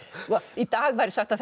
í dag væri sagt að